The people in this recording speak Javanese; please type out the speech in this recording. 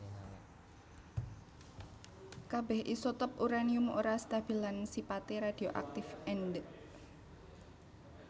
Kabèh isotop uranium ora stabil lan sipaté radioaktif endèk